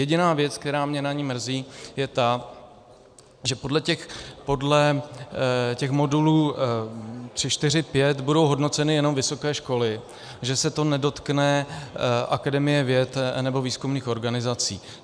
Jediná věc, která mě na ní mrzí, je ta, že podle těch modulů 3, 4, 5 budou hodnoceny jenom vysoké školy, že se to nedotkne Akademie věd nebo výzkumných organizací.